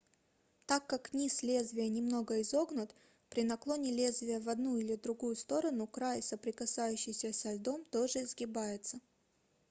так как низ лезвия немного изогнут при наклоне лезвия в одну или другую сторону край соприкасающийся со льдом тоже изгибается